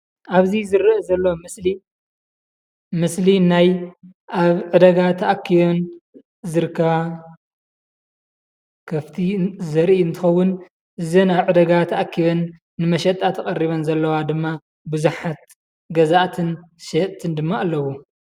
ኣብዚ ዝርአ ዘሎ ምስሊ ምስሊ ናይ ኣብ ዕዳጋ ተኣኪበን ዝርከባ ከፍቲ ዘርኢ እንትኸውን እዘን ኣብ ዕዳጋ ተኣኪበን ንመሸጣ ተቀሪበን ዘለዋ ድማ ቡዙሓት ገዛኣትን ሸየጥትን ድማ ኣለዉ።